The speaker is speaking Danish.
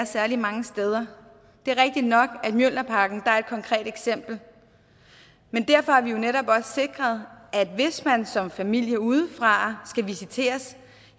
særlig mange steder det er rigtigt nok at mjølnerparken er et konkret eksempel og derfor har vi jo netop også sikret at hvis man som familie udefra skal visiteres